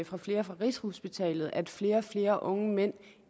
fra flere på rigshospitalet at flere og flere unge mænd